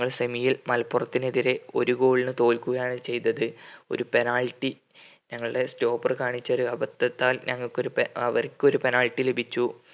ഞങ്ങൾ semi യിൽ മലപ്പുറത്തിനെതിരെ ഒരു goal ന് തോൽക്കുകയാണ് ചെയ്‌തത്‌ ഒരു penalty ഞങ്ങളുടെ stopper കാണിച്ച ഒരു അബദ്ധത്താൽ ഞങ്ങൾകൊര് അവർക്ക് ഒരു penalty ലഭിച്ചു